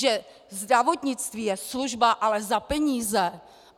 Že zdravotnictví je služba, ale za peníze!